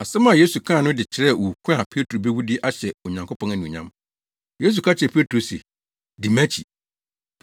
Asɛm a Yesu kaa no de kyerɛɛ owu ko a Petro bewu de ahyɛ Onyankopɔn anuonyam. Yesu ka kyerɛɛ Petro se, “Di mʼakyi.”